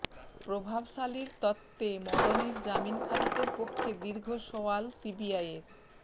প্রভাবশালীর তত্ত্বে মদনের জামিন খারিজের পক্ষে দীর্ঘ সওয়াল সিবিআইয়ের